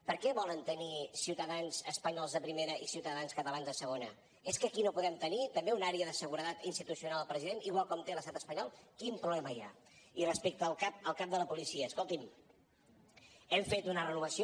per què volen tenir ciutadans espanyols de primera i ciutadans catalans de segona és que aquí no podem tenir també una àrea de seguretat institucional al president igual com té l’estat espanyol quin problema hi ha i respecte al cap de la policia escolti’m hem fet una renovació